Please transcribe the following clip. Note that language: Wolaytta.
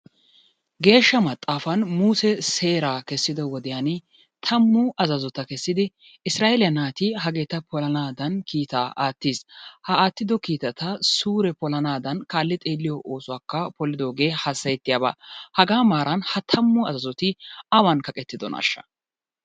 geeshsha maxaafan musee seeraa kessido wodiyani tammu azzazota kessidi issiraa'eeliya naati hageeta polanaadan kiittaa aattis. Ha aatido kiitata suure polanaadan kaali xeeliyo oosuwakka polliddogee hassayettiyaba hagaa maaran ha tammu azzazzoti awan kaqettidonaasha?